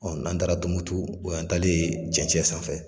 n'an taara Tunbutu o yan taalen cɛncɛn sanfɛ.